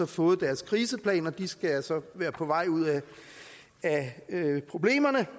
fået deres kriseplan og de skal så være på vej ud af problemerne